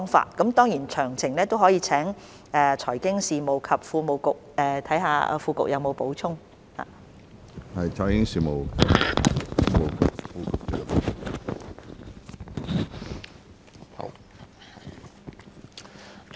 當然，有關的詳情也可以看看財經事務及庫務局副局長有否補充。